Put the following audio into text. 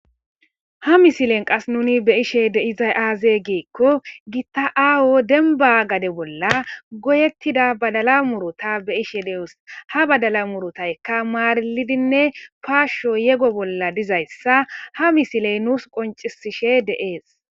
Ha misilen qas nuni be ishe deizay aaze geekko gita7aawo denba gade bolla goyettida badala murota be ishe de7es ha badala murotaykka maarilidinne paashsho yego bolla dizayssa ha misiley nuus qoncisishe de'ees.